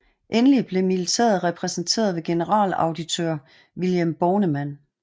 Endelig blev militæret repræsenteret ved generalauditør Vilhelm Bornemann